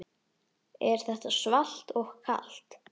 Er þetta svalt og kalt?